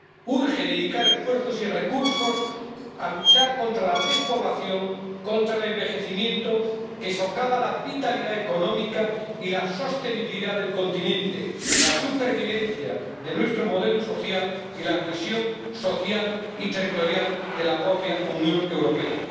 Urge dedicar esfuerzos y recursos a luchar contra la despoblación, contra el envejecimiento que socava la vitalidad económica y la sostenibilidad del continente, la supervivencia de nuestro modelo social y la cohesión social y territorial de la propia Unión Europea.